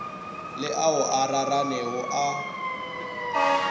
le ao a raranego a